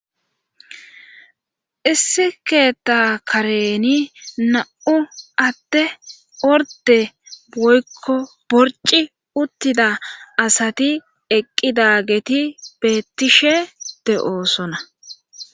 Issi keetta kareni na'u atte orde boykko borci uttida asati eqqidageti beettishe de'oosona.